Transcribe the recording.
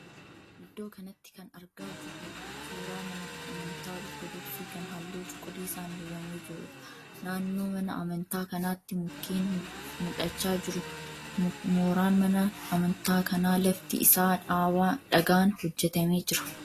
Iddoo kanatti kan argaa jirru suuraa mana amantaa 'Ortodoksii' kan halluu cuquliisaan dibamee jiruudha. Naannoo mana amantaa kanaatti mukeen mul'achaa jiru. Mooraan mana amntaa kanaa lafti isaa dhagaan hojjetamee jiraa?